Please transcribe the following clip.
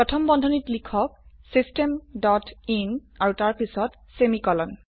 প্ৰথম বন্ধনীত লিখক চিষ্টেম ডট ইন আৰু তাৰপিছত সেমিকোলন